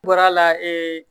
N bɔra la